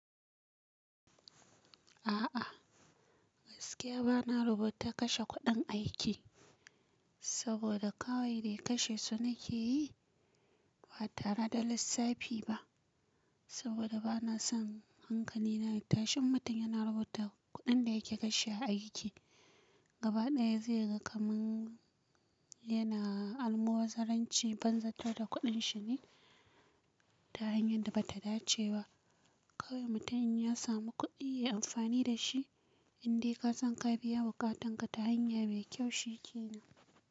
A'a, gaskiya bana rubuta kashe kuɗin aiki saboda kawai dai kashe su nake yi ba tare da lissafi ba saboda bana son hankali na ya tashi, in mutum yana rubuta kuɗin da yake kashe a aiki. Gaba ɗaya zai ga kamar yana almubazzaranci banzatar da kuɗin shi ne ta hanyar da ba ta dace ba. Kawai mutum in ya samu kuɗi, ya yi amfani da shi. Inde ka san ka biya buƙatanka ta hanya mai kyau shike na.